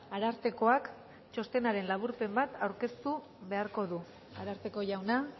arartekoak txostenaren laburpen bat aurkeztu beharko du ararteko jauna